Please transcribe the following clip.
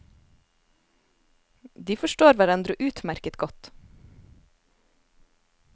De forstår hverandre utmerket godt.